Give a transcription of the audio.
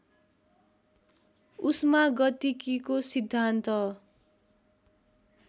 उष्मा गतिकीको सिद्धान्त